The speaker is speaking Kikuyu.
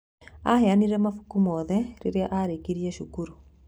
Aheanire mabuku mothe rĩrĩa arĩkirie cukuru.